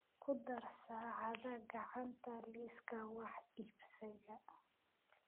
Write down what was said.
ku dar saacada gacanta liiska wax iibsiga